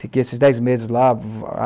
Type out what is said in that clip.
Fiquei esses dez meses lá.